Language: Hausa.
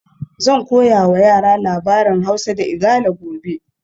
Zan koya wa yara labarin Hausa da Igala gobe